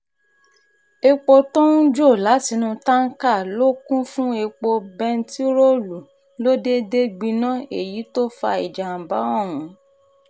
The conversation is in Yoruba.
èpò tó ń jó látinú táǹkà tó kún fún epo bẹntiróòlù ló déédé gbiná èyí tó fa ìjàm̀bá ọ̀hún